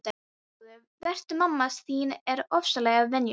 Blessaður vertu, mamma þín er ofsalega venjuleg.